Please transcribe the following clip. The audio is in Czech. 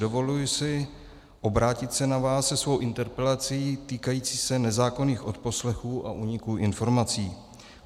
Dovoluji si obrátit se na vás se svou interpelací týkající se nezákonných odposlechů a úniků informací.